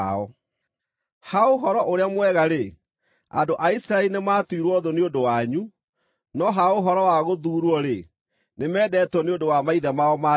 Ha Ũhoro-ũrĩa-Mwega-rĩ, andũ a Isiraeli nĩmatuirwo thũ nĩ ũndũ wanyu, no ha ũhoro wa gũthuurwo-rĩ, nĩmendetwo nĩ ũndũ wa maithe mao ma tene,